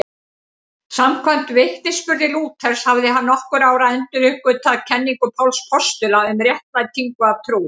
Samkvæmt vitnisburði Lúthers hafði hann nokkru áður enduruppgötvað kenningu Páls postula um réttlætingu af trú.